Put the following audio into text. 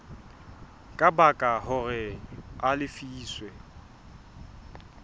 ka baka hore a lefiswe